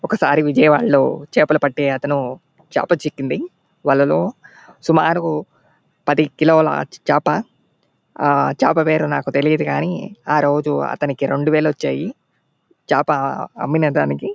ఒకసారి విజయవాడలో చేపలు పట్టె అతను చేప చిక్కింది వాళ్లలో సుమారు పది కిలోల చేప. ఆ చేప పేరు నాకు తెలియదు కానీ ఆ రోజు అతనికి రెండు వేలు వచ్చాయి. చేప అమ్మినదానికి --.